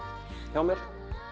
hjá mér